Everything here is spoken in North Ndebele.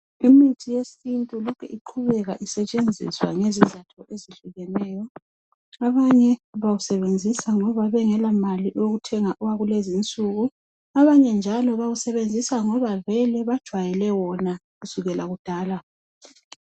Imithi yesiNtu lokhe iqhubeka isetshenziswa ngezizatho ezehlukeneyo. Abanye bawusebenzisa ngoba bengelamali abanye njalo kungoba bajayele wona kusukela kudala.